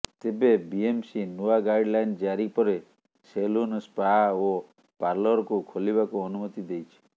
ତେବେ ବିଏମସି ନୂଆ guideline ଜାରି ପରେ ସେଲୁନ ସ୍ପା ଓ ପାରଲରକୁ ଖୋଲିବାକୁ ଅନୁମତି ଦେଇଛି